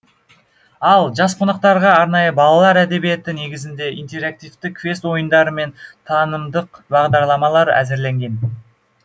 ал жас қонақтарға арнайы балалар әдебиеті негізінде интерактивті квест ойындары мен танымдық бағдарламалар әзірленген